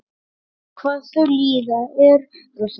Hvað þau líða eru þau?